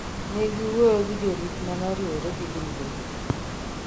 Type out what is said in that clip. negi wuoyo gi jorit manoriwre gi grube go